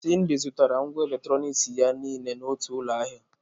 Cyndy zụtara ngwá eletronik ya niile n'otu ụlọ ahịa.